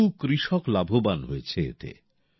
বহু কৃষক লাভবান হয়েছে এতে